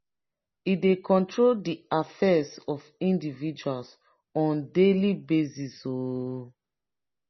e dey control de affairs of indiviual on daily basis. um